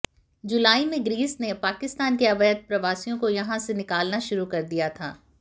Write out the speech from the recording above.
जुलाई में ग्रीस ने पाकिस्तान के अवैध प्रवासियों को यहां से निकालना शुरू किया था